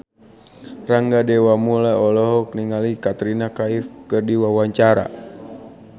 Rangga Dewamoela olohok ningali Katrina Kaif keur diwawancara